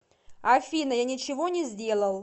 афина я ничего не сделал